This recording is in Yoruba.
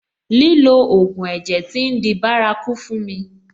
Lílo ògùn ẹ̀jẹ̀ tí ń di bárakú fún mi.